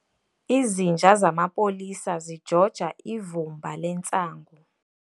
Izinja zamapolisa zijoja ivumba lentsangu.